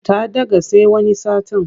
Ta ɗaga sai wani satin.